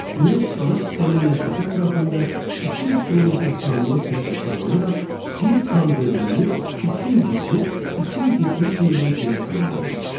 Günəş qalaktikanın mərkəzi ətrafında 200 km/saniyə sürətlə fırlanaraq bir tam dövrünü 230-270 milyon ilə tamamlayır.